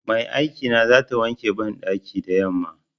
Mai aikina zata wanke banɗakin da yamma.